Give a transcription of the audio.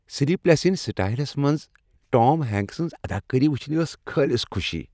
"Sleep less in سیئٹل"س منٛز Tom Hanks سنٛز اداکٲری وچھنہِ ٲس خٲلص خوشی۔